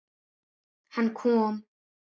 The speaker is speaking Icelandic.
Hann kom.